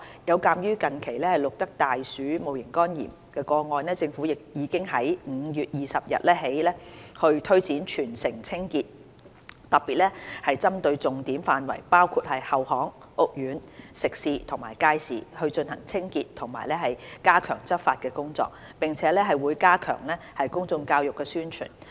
有鑒於近期錄得的大鼠戊型肝炎個案，政府已在5月20日起推展全城清潔，特別針對重點範圍包括後巷、屋苑、食肆及街市，進行清潔及加強執法工作，並會加強公眾教育和宣傳。